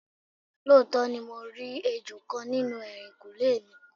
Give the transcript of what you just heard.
Looto ni mo ri ejo kan ninu ehinkunle mi